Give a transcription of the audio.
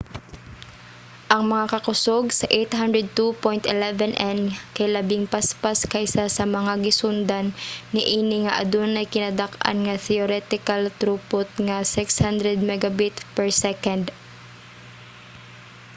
ang mga kakusog sa 802.11n kay labing paspas kaysa sa mga gisundan niini nga adunay kinadak-an nga theoretical throughput nga 600mbit/s